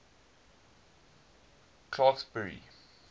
clarksburry